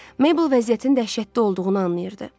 Meybl vəziyyətin dəhşətli olduğunu anlayırdı.